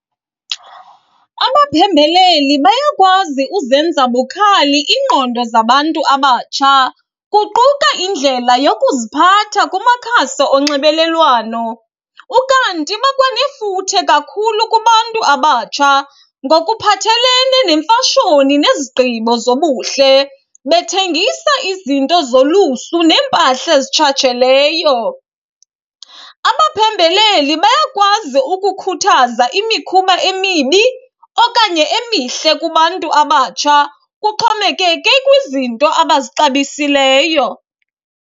Abaphembeleli bayakwazi uzenza bukhali iingqondo zabantu abatsha kuquka indlela yokuziphatha kumakhasi onxebelelwano. Ukanti bakwanefuthe kakhulu kubantu abatsha ngokuphathelene nemfashoni nezigqibo zobuhle, bethengisa izinto zolusu nempahla ezitshatsheleyo. Abaphembeleli bayakwazi ukukhuthaza imikhuba emibi okanye emihle kubantu abatsha kuxhomekeke kwizinto abazixabisileyo.